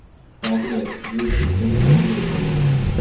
Sifatli jinsi shim qanday tanlanadi?.